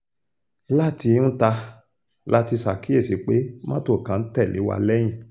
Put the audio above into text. láti ńta la ti ṣàkíyèsí pé mọ́tò kan ń tẹ̀lé wa lẹ́yìn